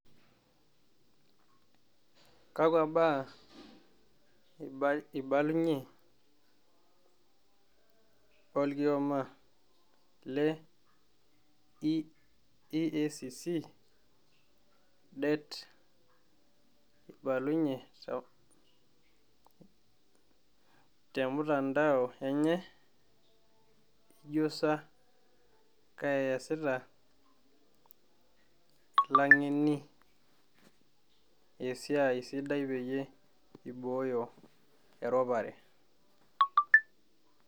Kakwa ba`aa eibalunyie orkioma le EACC det neibalunyie te mtandao enye? ijo sa keasita lang'eni esiai sidai piiboyo eropare